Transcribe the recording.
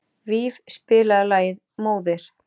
Víf, spilaðu lagið „Móðir“.